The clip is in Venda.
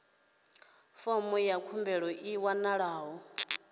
fomo ya khumbelo i wanalaho